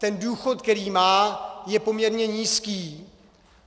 Ten důchod, který má, je poměrně nízký.